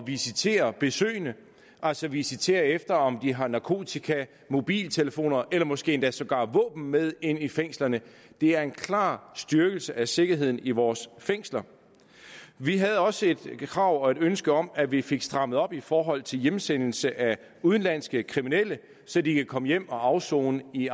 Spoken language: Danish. visitere besøgende altså visitere efter om de har narkotika mobiltelefoner eller måske endda sågar våben med ind i fængslerne det er en klar styrkelse af sikkerheden i vores fængsler vi havde også et krav og et ønske om at vi fik strammet op i forhold til hjemsendelse af udenlandske kriminelle så de kan komme hjem og afsone i